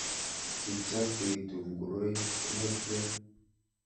Kichafuitu ngoroik netyaa.